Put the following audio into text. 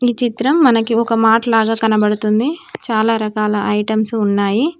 ఈ చిత్రం మనకి ఒక మార్ట్లా గా కనబడుతుంది చాలా రకాల ఐటమ్స్ ఉన్నాయి.